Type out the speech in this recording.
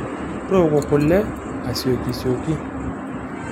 Tooko kule asioki sioki.